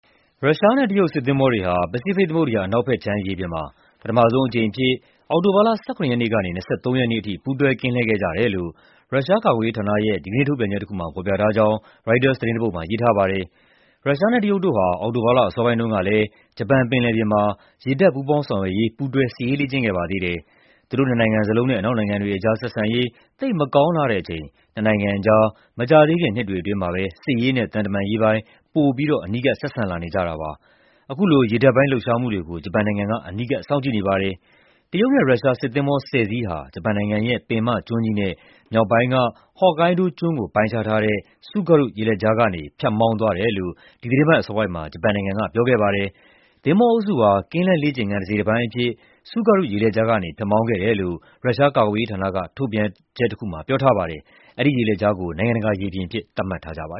ရုရှားနဲ့ တရုတ် စစ်သင်္ဘောတွေဟာ ပစိဖိတ်သမုဒ္ဒရာ အနောက်ဘက်ခြမ်း ရေပြင်မှာ ပထမဆုံးအကြိမ်အဖြစ် အောက်တိုဘာလ ၁၇ ရက်နေ့ကနေ ၂၃ ရက်နေ့အထိ ပူးတွဲ ကင်းလှည့်ခဲ့ကြတယ်လို့ ရုရှားကာကွယ်ရေးဌာနရဲ့ ဒီကနေ့ ထုတ်ပြန်ချက်တခုမှာ ဖော်ပြထားကြောင်း ရိုက်တာသတင်းတပုဒ်မှာ ရေးထားပါတယ်။ ရုရှားနဲ့ တရုတ်တို့ဟာ အောက်တိုဘာလ အစောပိုင်းတုန်းကလည်း ဂျပန်ပင်လယ်ပြင်မှာ ရေတပ် ပူးပေါင်းဆောင်ရွက်ရေး ပူးတွဲ စစ်ရေးလေ့ကျင့်ခဲ့ပါသေးတယ်။ သူတို့နှစ်နိုင်ငံစလုံးနဲ့ အနောက်နိုင်ငံတွေကြား ဆက်ဆံရေး သိပ်မကောင်းလှတဲ့အချိန် နှစ်နိုင်ငံကြား မကြာသေးခင် နှစ်တွေအတွင်း စစ်ရေးနဲ့ သံတမန်ရေးပိုင်း ပိုပြီးတော့ အနီးကပ် ဆက်ဆံလာနေကြတာပါ။ အခုလို ရေတပ်ပိုင်း လှုပ်ရှားမှုတွေကို ဂျပန်နိုင်ငံက အနီးကပ် စောင့်ကြည့်နေပါတယ်။ တရုတ်နဲ့ ရုရှား စစ်သင်္ဘော ၁၀ စီးဟာ ဂျပန်နိုင်ငံရဲ့ ပင်မကျွန်းကြီးနဲ့ မြောက်ပိုင်းက ဟော့ကိုင်းဒိုးကျွန်းကို ပိုင်းခြားထားတဲ့ Tsugaru ရေလက်ကြားကနေ ဖြတ်မောင်းသွားတယ်လို့ ဒီသီတင်းပတ် အစောပိုင်းမှာ ဂျပန်နိုင်ငံက ပြောခဲ့ပါတယ်။ "သင်္ဘောအုပ်စုဟာ ကင်းလှည့်လေ့ကျင့်ခန်း တစိတ်တပိုင်းအဖြစ် Tsugaru ရေလက်ကြားကနေ ဖြတ်မောင်းခဲ့တယ်" လို့ ရုရှားကာကွယ်ရေးဌာနက ထုတ်ပြန်ချက်တခုမှာ ပြောထားပါတယ်။ အဲဒီရေလက်ကြားကို နိုင်ငံတကာရေပြင်အဖြစ် သတ်မှတ်ထားကြတာပါ